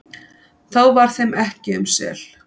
þá var þeim ekki um sel,